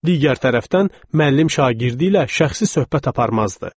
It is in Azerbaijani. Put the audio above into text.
Digər tərəfdən, müəllim şagirdi ilə şəxsi söhbət aparmazdı.